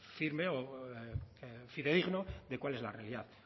firme o fidedigno de cuál es la realidad